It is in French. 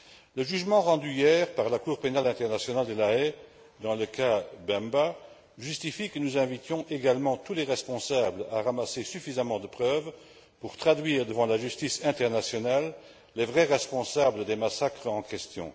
Le jugement rendu hier par la Cour pénale internationale de La Haye dans l'affaire Bemba justifie que nous invitions également tous les responsables à rassembler suffisamment de preuves pour traduire devant la justice internationale les vrais responsables des massacres en question.